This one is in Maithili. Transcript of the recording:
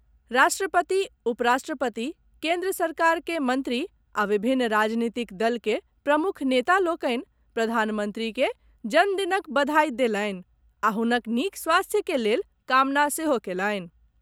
राष्ट्रपति, उपराष्ट्रपति, केन्द्र सरकार के मंत्री आ विभिन्न राजनीतिक दल के प्रमुख नेता लोकनि प्रधानमंत्री के जन्म दिनक बधाई देलनि आ हुनक नीक स्वास्थ्य के लेल कामना सेहो कयलनि।